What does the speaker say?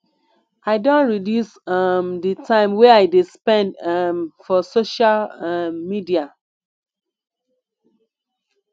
i don reduce um di time wey i dey spend um for social um media